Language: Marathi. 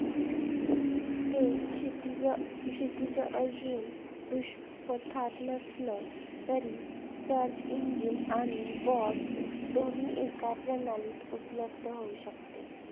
ते क्षितिज क्षितिज अजून दृष्टीपथात नसलं तरी search engine आणि BOT दोन्ही एका प्रणालीत उपलब्ध होऊ शकते.